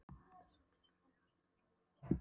Hann virtist sáttur við niðurstöður athugunar sinnar.